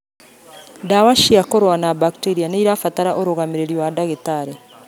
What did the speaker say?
Ndawa cia kũrũa na mbakteria nĩirabatara ũrũgamĩrĩri wa ndagĩtarĩ